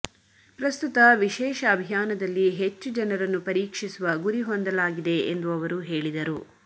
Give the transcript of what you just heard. ಪ್ರಸ್ತುತ ವಿಶೇಷ ಅಭಿಯಾನದಲ್ಲಿ ಹೆಚ್ಚು ಜನರನ್ನು ಪರೀಕ್ಷಿಸುವ ಗುರಿ ಹೊಂದಲಾಗಿದೆ ಎಂದು ಅವರು ಹೇಳಿದರು